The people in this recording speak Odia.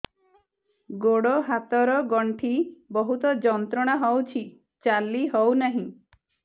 ଗୋଡ଼ ହାତ ର ଗଣ୍ଠି ବହୁତ ଯନ୍ତ୍ରଣା ହଉଛି ଚାଲି ହଉନାହିଁ